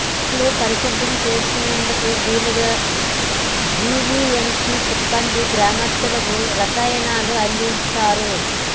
ఇళ్లు పరిశుభ్రం చేసుకునేందుకు వీలుగా జీవీఎంసీ సిబ్బంది గ్రామస్తులకు రసాయనాలు అందిస్తారు